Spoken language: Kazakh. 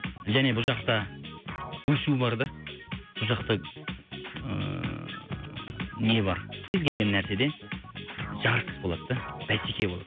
және бұл жақта өсу бар да бұл жақта ыыы не бар кез келген нәрседе жарыс болады да бәсеке болады